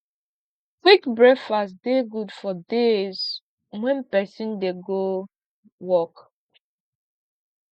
quick breakfast dey good for days wen pesin dey go work